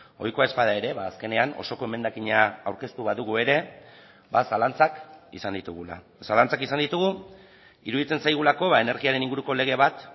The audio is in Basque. ohikoa ez bada ere azkenean osoko emendakina aurkeztu badugu ere zalantzak izan ditugula zalantzak izan ditugu iruditzen zaigulako energiaren inguruko lege bat